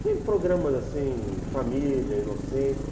Sem programas assim, família, inocente.